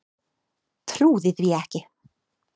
Trúði því ekki.